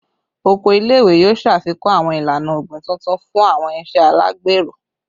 Oko ile-iwe yoo ṣafikun awọn ilana ogbin tuntun fun awọn iṣe alagbero